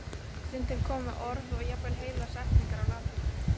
Stundum komu orð og jafnvel heilar setningar á latínu.